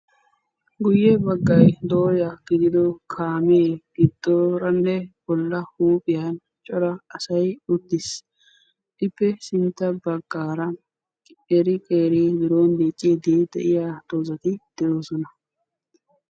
Guyye baggay dooya gidido kaame giddooranne bolla huuphiyan cora asay uttis. Ippe sintta baggaara qeeri qeeri biron dicciiddi de7iya dozzati de7oosona.